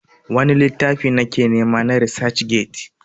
wani littafi na ke nema a resac get?